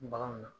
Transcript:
Baganw na